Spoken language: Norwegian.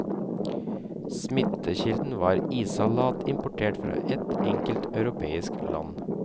Smittekilden var issalat importert fra ett enkelt europeisk land.